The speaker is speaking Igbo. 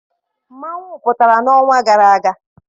Mmanwụ pụtara n'ọnwa gara aga.